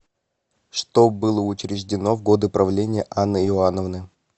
что было учреждено в годы правления анны иоанновны